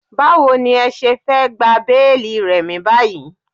Báwo ní ẹ ṣe fẹ́ gba béélì Remi báyìí?